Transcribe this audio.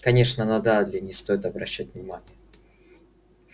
конечно на дадли не стоит обращать внимание